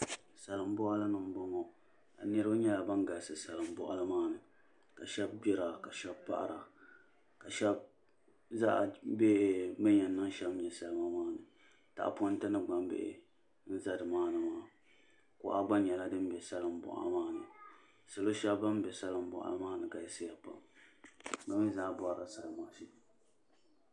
Salin boɣali ni n boŋo niraba nyɛla ban galisi salin boɣali maa ni ka shab gbira ka shab paɣara ka shab zaɣa bɛ bi ni yɛn niŋ shɛm nyɛ salima maa ni tahaponti ni gbambihi n ʒɛ nimaani maa kuɣa gba nyɛla din bɛ salin boɣa maa ni salo shab ban bɛ salin boɣa maa ni galisiya pam bi mii zaa borila salima shee